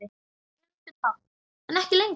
Elísabet Hall: En ekki lengur?